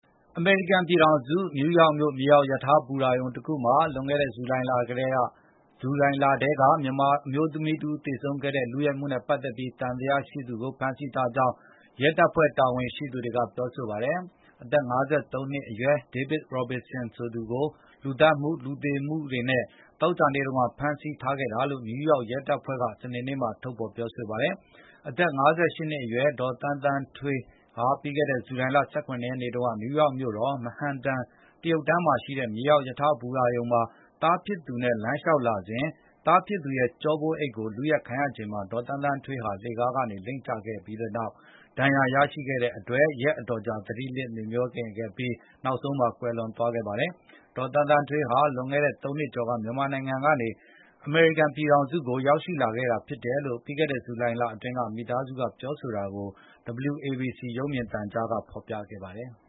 အမေရိကန်ပြည်ထောင်စု နယူးယောက်မြို့ မြေအောက်ရထား ဘူတာရုံတခုမှာ လွန်ခဲ့တဲ့ ဇူလိုင်လထဲက မြန်မာအမျိုးသမီးတဦး သေဆုံးခဲ့တဲ့ လုယက်မှုနဲ့ပတ်သက်ပြီး သံသယရှိသူကို ဖမ်းဆီးထားကြောင်း ရဲတပ်ဖွဲ့ တာဝန်ရှိသူတွေက ပြောပါတယ်။ အသက် ၅၃ နှစ်အရွယ် David Robinson ကို လူသတ်မှု၊ လူသေစေမှုတွေနဲ့ သောကြာနေ့က ဖမ်းဆီးခဲ့တာလို့ နယူးယောက်ရဲတပ်ဖွဲ့က စနေနေ့မှာ ပြောဆိုလိုက်တာပါ။ အသက် ၅၈ နှစ်အရွယ် ဒေါ်သန်းသန်းထွေး ပြီးခဲ့တဲ့ ဇူလိုင်လ ၁၇ ရက်နေ့တုန်းက နယူးယောက် Manhattan တရုတ်တန်းမှာရှိတဲ့ မြေအောက်ရထားဘူတာရုံမှာ သားဖြစ်သူနဲ့အတူ လမ်းလျှောက်လာစဉ် သားဖြစ်သူရဲ့ ကျောပိုးအိတ်ကို လုယက်ခံရချိန်မှာ ဒေါ်သန်းသန်းထွေး လှေခါးကနေ လိမ့်ကျခဲ့တဲ့ ဒဏ်ရာနဲ့ ရက်အတော်ကြာ သတိလစ် မေ့မြောနေခဲ့ပြီး နောက်ဆုံးမှာ ကွယ်လွန်သွားခဲ့ပါတယ်။ ဒေါ်သန်းသန်းထွေးဟာ လွန်ခဲ့တဲ့ ၃ နှစ်ကျော်က မြန်မာနိုင်ငံကနေ အမေရိကန်ပြည်ထောင်စုကို ရောက်ရှိလာခဲ့တာဖြစ်တယ်လို့ ပြီးခဲ့တဲ့ ဇူလိုင်လအတွင်းက မိသားစုက ပြောဆိုတာကို WABC ရုပ်မြင်သံကြားက ဖော်ပြခဲ့ပါတယ်။